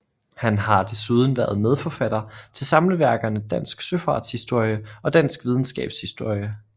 Han har desuden været medforfatter til samleværkerne Dansk Søfarts Historie og Dansk Videnskabs Historie